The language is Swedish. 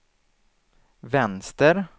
vänster